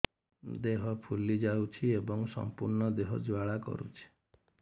ଦେହ ଫୁଲି ଯାଉଛି ଏବଂ ସମ୍ପୂର୍ଣ୍ଣ ଦେହ ଜ୍ୱାଳା କରୁଛି